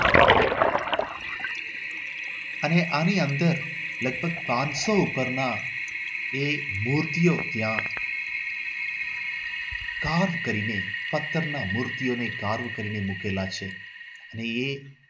અને આની અંદર લગભગ પાંચસો પરના એ મૂર્તિઓ ત્યાં કામ કરીને પત્થરના મૂર્તિઓને કારા કરીને મૂકેલા છે અને એ